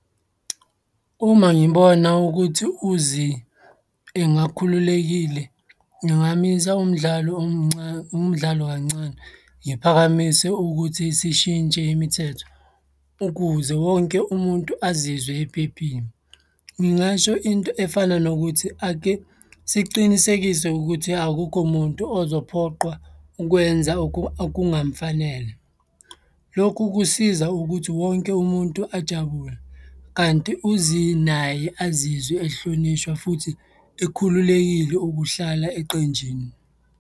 Uma ngibona ukuthi u-Zea engakhululekile, ngingamisa umdlalo , umdlalo kancane, ngiphakamise ukuthi sishintshe imithetho ukuze wonke umuntu azizwe ephephile. Ngingasho into efana nokuthi, ake siqinisekise ukuthi akukho muntu ozophoqwa ukwenza okungamfanele. Lokhu kusiza ukuthi wonke umuntu ajabule, kanti u-Zea naye azizwe ehlonishwa futhi ekhululekile ukuhlala eqenjini.